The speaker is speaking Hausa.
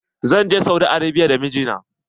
Zan je Saudi Arabia da mijina.